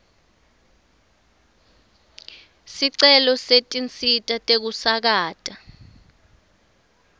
sicelo setinsita tekusakata